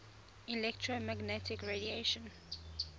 electromagnetic radiation